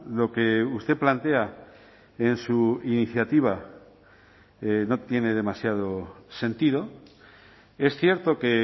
lo que usted plantea en su iniciativa no tiene demasiado sentido es cierto que